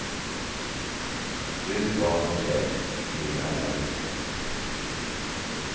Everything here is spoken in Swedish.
Fru, barn och släkt blir alla vittnen.